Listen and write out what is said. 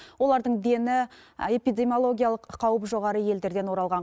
олардың дені эпидемиологиялық қаупі жоғары елдерден оралған